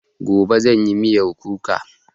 Gobe zanyi miyan kuka